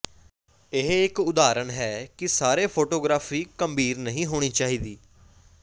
ਇਹ ਇੱਕ ਉਦਾਹਰਨ ਹੈ ਕਿ ਸਾਰੇ ਫੋਟੋਗਰਾਫੀ ਗੰਭੀਰ ਨਹੀਂ ਹੋਣੀ ਚਾਹੀਦੀ